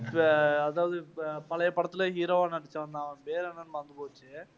அதாவது பழைய படத்துல hero வா நடிச்சவன் தான் அவன் பேர் என்னன்னு மறந்து போச்சு.